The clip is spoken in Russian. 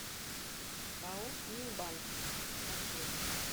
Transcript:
пао минбанк маршрут